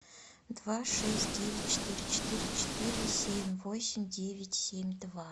два шесть девять четыре четыре четыре семь восемь девять семь два